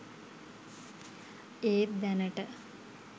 ඒත් දැනට